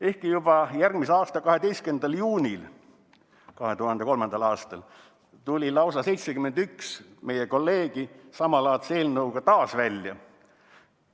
Ehkki juba järgmisel aastal, 12. juunil 2003. aastal tuli lausa 71 meie kolleegi samalaadse eelnõuga taas välja.